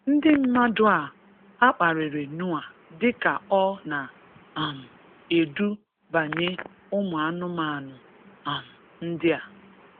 Ndị mmadụ a a kparịrị Noah dịka ọ na um edu banye ụmụ anụmanụ um ndị a.